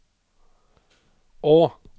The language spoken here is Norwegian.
å